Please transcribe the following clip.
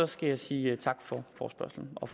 skal jeg sige tak for forespørgslen og